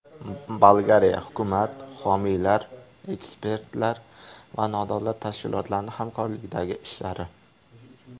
Bolgariya: Hukumat, homiylar, ekspertlar va nodavlat tashkilotlarning hamkorlikdagi ishlari.